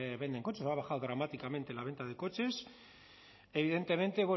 venden coches o ha bajado dramáticamente la venta de coches evidentemente